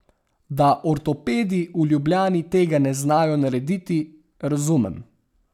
Da ortopedi v Ljubljani tega ne znajo narediti, razumem.